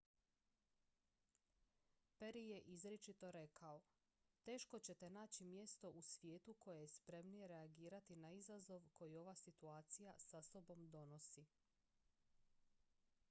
"perry je izričito rekao: "teško ćete naći mjesto u svijetu koje je spremnije reagirati na izazov koji ova situacija sa sobom nosi.